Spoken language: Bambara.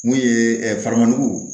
Mun ye farangu